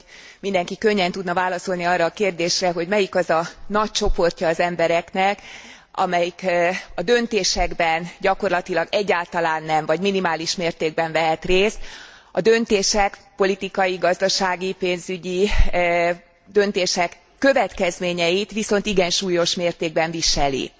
Azt hiszem, hogy mindenki könnyen tudna válaszolni arra a kérdésre, hogy melyik az a nagy csoportja az embereknek, amelyik a döntésekben gyakorlatilag egyáltalán nem vagy minimális mértékben vehet részt, a döntések politikai, gazdasági, pénzügyi döntések következményeit viszont igen súlyos mértékben viseli.